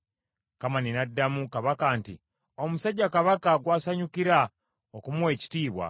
Kamani n’addamu Kabaka nti, “Omusajja Kabaka gw’asanyukira okumuwa ekitiibwa,